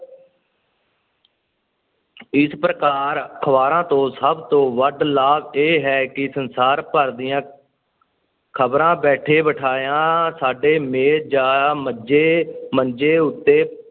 ਇਸ ਪ੍ਰਕਾਰ ਅਖ਼ਬਾਰਾਂ ਤੋਂ ਸਭ ਤੋਂ ਵੱਧ ਲਾਭ ਇਹ ਹੈ ਕਿ ਸੰਸਾਰ ਭਰ ਦੀਆਂ ਖ਼ਬਰਾਂ ਬੈਠੇ-ਬਿਠਾਇਆਂ ਸਾਡੇ ਮੇਜ਼ ਜਾਂ ਮੰਜ਼ੇ ਮੰਜ਼ੇ ਉੱਤੇ